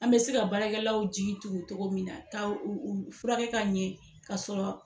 An bɛ se ka baarakɛlaw jigi tugu cɔgɔ min na ka u u furakɛ ka ɲɛ ka sɔrɔ